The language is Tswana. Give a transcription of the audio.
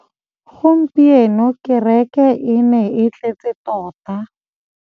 Gompieno kêrêkê e ne e tletse tota.